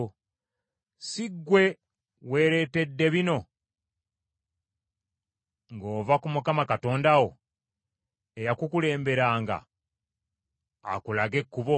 Si ggwe weeretedde bino ng’ova ku Mukama Katonda wo, eyakukulemberanga akulage ekkubo?